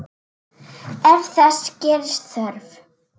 Ef þess gerist þörf